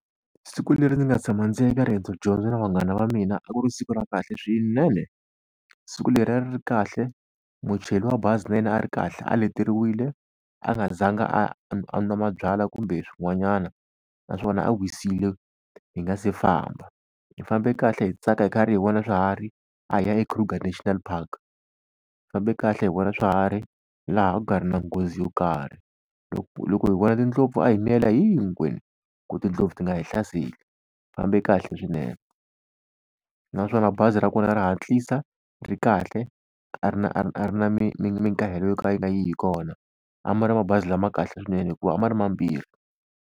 Siku leri ni nga tshama ndzi ya ka riendzo dyondzo na vanghana va mina a ku ri siku ra kahle swinene. Siku leri a ri ri kahle muchayeri wa bazi na yena a ri kahle a leteriwile a nga zanga a a nwa mabyalwa kumbe swin'wanyana, naswona a wisile hi nga si famba. Hi fambe kahle hi tsaka hi karhi hi vona swiharhi, a hi ya eKruger National Park hi fambe kahle hi vona swiharhi laha a ku nga ri na nghozi yo karhi. loko hi vona tindlopfu a hi miyela hinkwenu ku tindlopfu ti nga hi hlaseli hi fambe kahle swinene. Naswona bazi ra kona ra hatlisa ri kahle a ri na a ri na mikahelo yo ka yi nga yi hi kona. A ma ri mabazi lama kahle swinene hikuva a ma ri mambirhi.